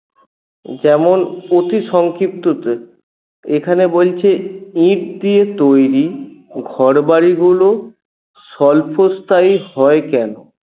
যেমন অতিসংক্ষিপ্ততে এখানে বলছে ইট দিয়ে তৈরি ঘরবাড়িগুলো স্বল্পস্থায়ী হয় কেন?